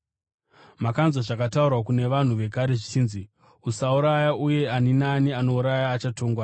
“Makanzwa zvakataurwa kune vanhu vekare zvichinzi, ‘Usauraya uye ani naani anouraya achatongwa.’